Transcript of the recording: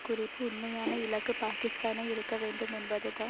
குறிப்பு உண்மையான இலக்கு பாக்கிஸ்தானை இருக்க வேண்டும் என்பதுதான்